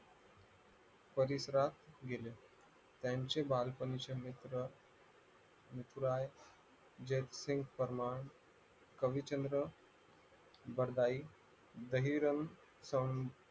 पवित्रा गेले यांचे बालपणीचे मित्र कवीचंद्र बरदाइ दहिराम